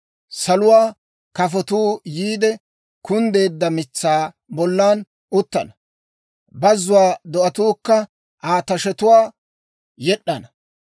Saluwaa kafotuu yiide kunddeedda mitsaa bolla uttana; bazzuwaa do'atuukka Aa tashetuwaa yed'd'ana.